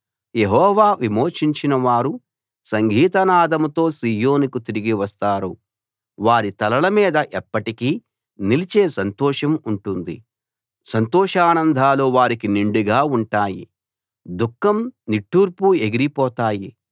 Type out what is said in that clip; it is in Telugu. యెహోవా విమోచించినవారు సంగీతనాదంతో సీయోనుకు తిరిగి వస్తారు వారి తలలమీద ఎప్పటికీ నిలిచే సంతోషం ఉంటుంది సంతోషానందాలు వారికి నిండుగా ఉంటాయి దుఃఖం నిట్టూర్పు ఎగిరిపోతాయి